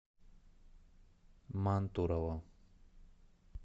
мантурово